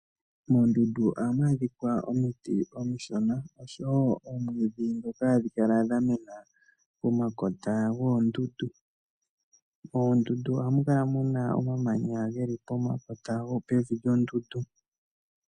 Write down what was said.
Moondundu ohamu adhikwa omiti omishona oshowo oomwidhi dhoka hadhi kala dha mena pomakota goondundu. Moondundu ohamu kala muna omamanya geli pomakota pevi lyoondundu.